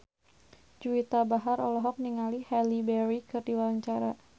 Juwita Bahar olohok ningali Halle Berry keur diwawancara